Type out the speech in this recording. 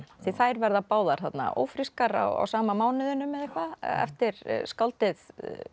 því þær verða báðar ófrískar á sama mánuðinum eða eitthvað eftir skáldið